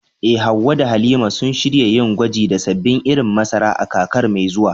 Eh, Hawwa da Halima sun shirya yin gwaji da sabbin irin masara a kakar mai zuwa.